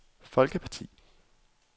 folkeparti